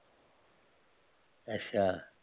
ਅੱਛਾ